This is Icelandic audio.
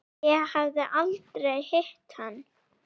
Ég hafði aldrei hitt hann.